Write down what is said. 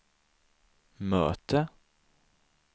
möte